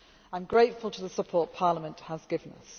I am grateful for the support Parliament has